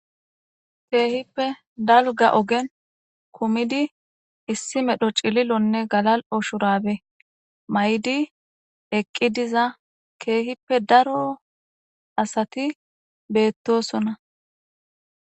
Kehippe daligga ogenni kumiddi issi medhdho cililo nne galali''o shurabbe mayiddi eqqi diza kehippe daro asati betosona.